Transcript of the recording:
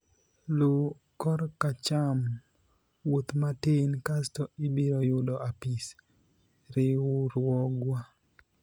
luw korkacham ,wuoth matin kasto ibiro yudo apis riwruogwa